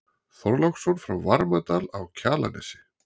Þorláksson frá Varmadal á Kjalarnesi.